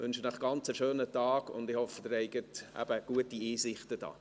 Ich wünsche Ihnen einen ganz schönen Tag und hoffe, Sie haben eben gute Einsichten hier.